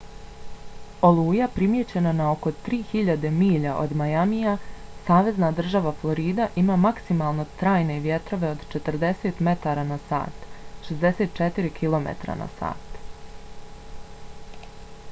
oluja primijećena na oko 3000 milja od miamija savezna država florida ima maksimalno trajne vjetrove od 40 m/h 64 km/h